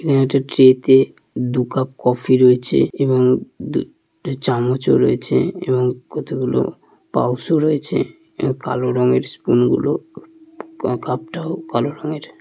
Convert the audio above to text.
এখানে একটি ট্রেতে দু কাপ কফি রয়েছে এবং দু টো চামচও রয়েছে এবং কতগুলো পাউসও রয়েছে। এ কালো রঙের স্পুন গুলো ক কাপটাও কালো রঙের।